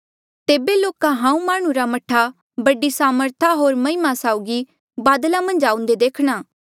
तेबे लोका हांऊँ माह्णुं रे मह्ठा बडी सामर्था होर महिमा साउगी बादला मन्झ आऊंदे देखणा